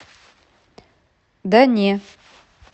да не